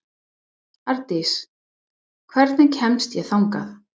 Árdís, hvernig kemst ég þangað?